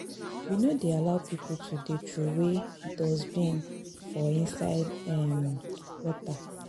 We no dey allow pipo to dey troway dustbin for inside um water.